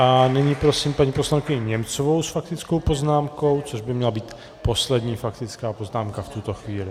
A nyní prosím paní poslankyni Němcovou s faktickou poznámkou, což by měla být poslední faktická poznámka v tuto chvíli.